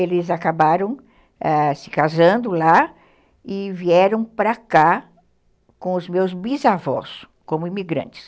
Eles acabaram, é, se casando lá e vieram para cá com os meus bisavós como imigrantes.